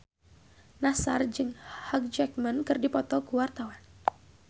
Nassar jeung Hugh Jackman keur dipoto ku wartawan